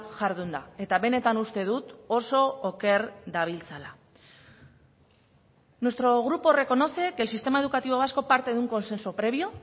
jardunda eta benetan uste dut oso oker dabiltzala nuestro grupo reconoce que el sistema educativo vasco parte de un consenso previo